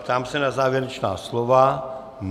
Ptám se na závěrečná slova.